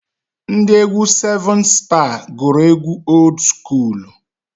Ndị egwu sevun staa gụrụ egwu old skuulu.